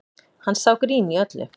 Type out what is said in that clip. Hann sá grín í öllu